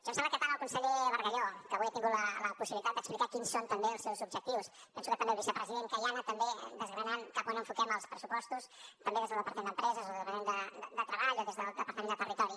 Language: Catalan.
em sembla que tant el conseller bargalló que avui ha tingut la possibilitat d’explicar quins són també els seus objectius penso que també els vicepresident que ja ha anat també desgranant cap a on enfoquem els pressupostos també des del departament d’empresa des del departament de treball o des del departament de territori